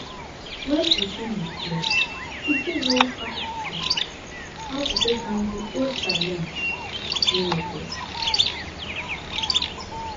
when person reflect im fit know how to how to take handle old challenge with new method